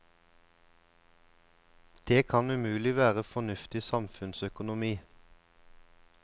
Det kan umulig være fornuftig samfunnsøkonomi.